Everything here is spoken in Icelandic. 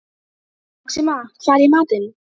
Maxima, hvað er í matinn?